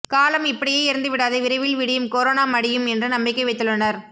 காலம் இப்படியே இருந்துவிடாது விரைவில் விடியும் கொரோனா மடியும் என்று நம்பிக்கை வைத்துள்ளனர்